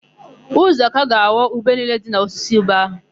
Uzọka ga-aghọ ube niile dị n'osisi ube áhụ̀.